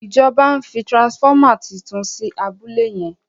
ìjọba ń fí transformer títún sí abúlé yen.